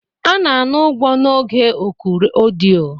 A na-ana ụgwọ n'oge oku ọdịyo